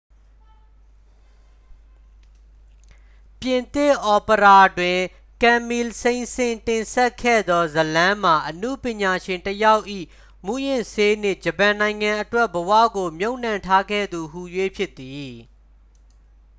"ပြင်သစ်အော်ပရာတွင် ကမ်မီလ် စိန့်ဆင်းစ် တင်ဆက်ခဲ့သော ဇာတ်လမ်းမှာ အနုပညာရှင်တစ်ယောက်၏ "မူးယစ်ဆေးနှင့် ဂျပန်နိုင်ငံအတွက် ဘဝကို မြှပ်နှံထားခဲ့သူ" ဟူ၍ ဖြစ်သည်။